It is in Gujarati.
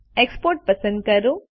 એક્સપોર્ટ પસંદ કરો